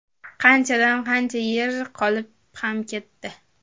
Qanchadan qancha yer qolib ham ketdi.